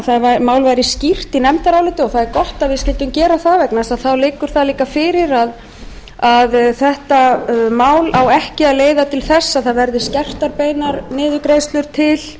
málið væri skýrt í nefndaráliti það er gott að við skyldum gera það vegna þess að þá liggur það líka fyrir að þetta mál á ekki að leiða til þess að það verði skertar beinar niðurgreiðslur